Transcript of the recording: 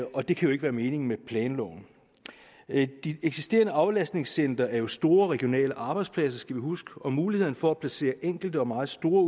og det kan jo ikke være meningen med planloven de eksisterende aflastningscentre er jo store regionale arbejdspladser skal vi huske og mulighederne for at placere enkelte og meget store